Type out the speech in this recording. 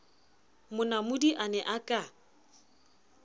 monamodi a ne a ka